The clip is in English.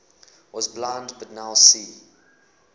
was blind but now see